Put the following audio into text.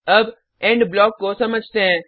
अब end block को समझते हैं